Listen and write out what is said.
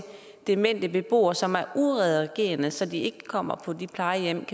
demente beboere som er udadreagerende så de ikke kommer på de plejehjem